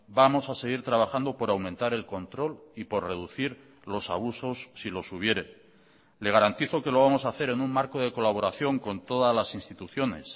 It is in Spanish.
vamos a seguir trabajando por aumentar el control y por reducir los abusos si los hubiere le garantizo que lo vamos a hacer en un marco de colaboración con todas las instituciones